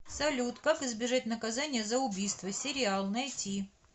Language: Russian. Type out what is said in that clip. салют как избежать наказания за убийство сериал найти